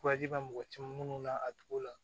bɛ mɔgɔ caman minnu na a togo la